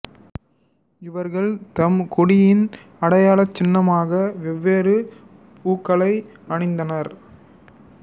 இவர்கள் தம் குடியின் அடையாளச் சின்னமாக வெவ்வேறு பூக்களை அணிந்தனர்